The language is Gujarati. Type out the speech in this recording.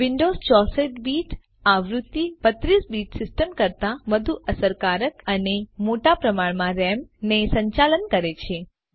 વિન્ડોવ્સ 64 બીટ આવૃત્તિ 32 બીટ સિસ્ટમ કરતાં વધુ અસરકારકઅને મોટા પ્રમાણમાં રામ ને સંચાલન કરે છે